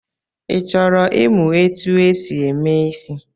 Ị chọrọ ịmụ etu e si eme ịsị?